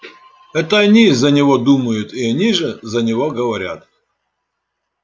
это они за него думают и они же за него говорят